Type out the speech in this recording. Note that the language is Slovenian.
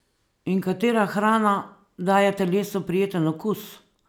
In katera hrana daje telesu prijeten okus?